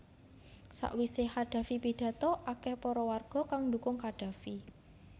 Sawise Qaddafi pidhato akeh para warga kang ndukung Qaddafi